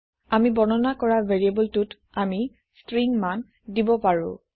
আমি বৰ্ণনা কৰা variableটোত আমি stringমান দিব পাৰো